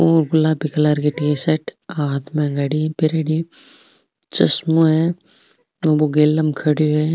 ओ गुलाबी कलर की टी-शर्ट हाथ में घडी पहरयोड़ी चश्मों है बो गेला में खडियो है।